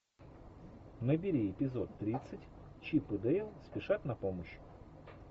набери эпизод тридцать чип и дейл спешат на помощь